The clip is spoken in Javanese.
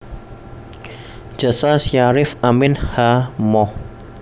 Jasa Syarif Amin H Moh